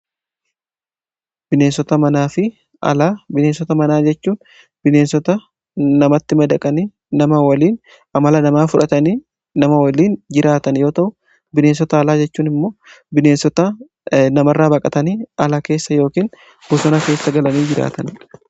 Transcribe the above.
Bineensota manaa fi alaa: bineensota manaa jechuun bineensota namatti madaqanii nama waliin amala namaa fudhatanii nama waliin jiraatan yoo ta'u, bineensota alaa jechuun immoo bineensota nama irra baqatanii ala keessa yookiin bosona keessa galanii jiraatanidha.